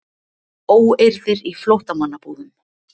Óeirðir í flóttamannabúðum